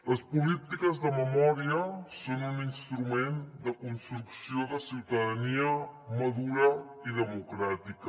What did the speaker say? les polítiques de memòria són un instrument de construcció de ciutadania madura i democràtica